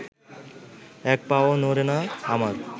এক পাও নড়ে না আমার